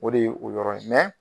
O de ye o yɔrɔ ye